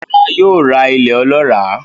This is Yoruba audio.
Rárá, yóò ra ilẹ̀ olọ́ràá